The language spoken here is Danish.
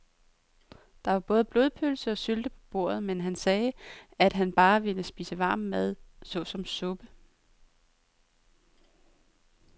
Der var både blodpølse og sylte på bordet, men han sagde, at han bare ville spise varm mad såsom suppe.